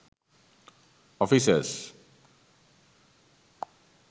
offices